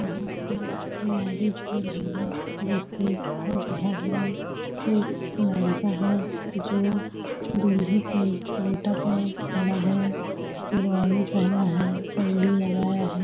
यहाँ पे मैरिज हो रहा है जैसे लग रहा है एक लड़का है जो दूल्हे के गिटअप में खड़ा है जिरवानी पहना है पगड़ी लगाया है।